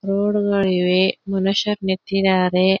Road ಗಳು ಇವೆ ಮನುಷ್ಯರು ನಿತ್ತಿದ್ದಾರೆ.